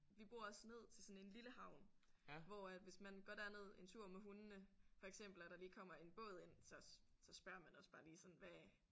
Vi bor også ned til sådan en lille havn hvor at hvis man går derned en tur med hundene for eksempel og der lige kommer en båd ind så så spørger man også bare lige sådan hvad